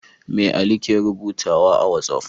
Me Ali ke rubutu a wat'af?